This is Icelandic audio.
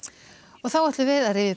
þá ætlum við að rifja upp